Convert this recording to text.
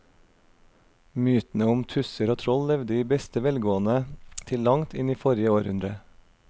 Mytene om tusser og troll levde i beste velgående til langt inn i forrige århundre.